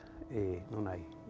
núna í